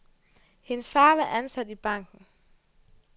Hendes far var ansat i banken.